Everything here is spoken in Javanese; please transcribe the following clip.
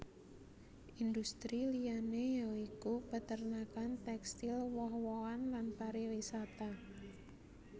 Industri liyané ya iku peternakan tekstil woh wohan lan pariwisata